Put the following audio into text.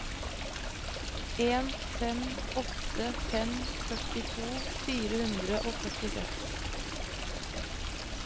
en fem åtte fem førtito fire hundre og førtiseks